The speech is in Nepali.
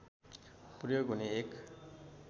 प्रयोग हुने एक